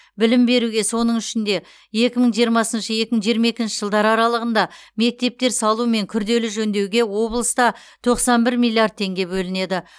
білім беруге соның ішінде екі мың жиырмасыншы екі мың жиырма екінші жылдар аралығында мектептер салу мен күрделі жөндеуге облыста тоқсан бір миллиард теңге бөлінеді